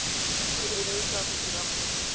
go emisa go dira kgwebo